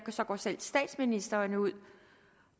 så går selv statsministeren ud